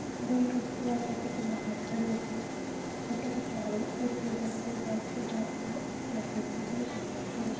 दो युक्तियाँ कैफ़े के बाहार खड़े होके फोटो खिचवा रही हैं एक युवक जाते हुए कैफ़े को देख रहे हैं।